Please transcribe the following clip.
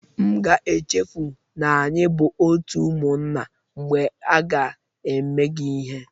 M ga echefu na anyị bụ otu ụmụnna mgbe ga eme gị ihe